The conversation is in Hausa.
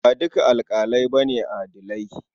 Ba dukan alaƙalai ba ne adilai.